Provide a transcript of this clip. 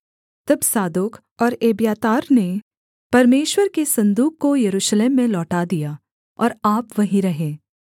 तब सादोक और एब्यातार ने परमेश्वर के सन्दूक को यरूशलेम में लौटा दिया और आप वहीं रहे